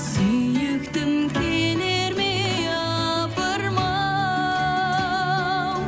сүйіктім келер ме япырым ау